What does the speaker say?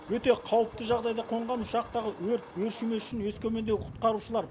өте қауіпті жағдайда қонған ұшақтағы өрт өршімес үшін өскемендегі құтқарушылар